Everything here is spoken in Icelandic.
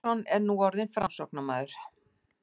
Magnússon er nú orðinn Framsóknarmaður.